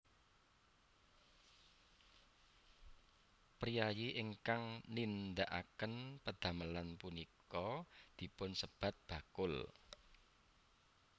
Priyayi ingkang nindhakaken pedhamelan punika dipun sebat bakul